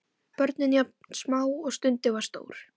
Börnin jafn smá og stundin var stór.